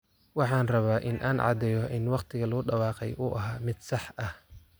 Waxaan rabaa in aan caddeeyo in waqtiga lagu dhawaaqay uu ahaa mid sax ah.